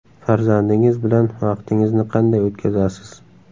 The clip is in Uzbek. Farzandingiz bilan vaqtingizni qanday o‘tkazasiz?